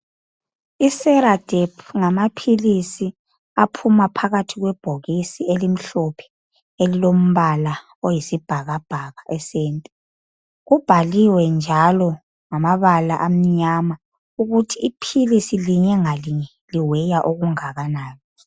Iseradephu ngamaphilisi aphuma phakathi kwebhokisi elilombala oyisibhabhaka esenta. Kubhaliwe njalo ngamabala amnyama ukuthi iphilisi linye ngalinye liweya okungakanani.